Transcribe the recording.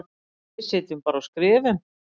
Við sitjum bara og skrifum.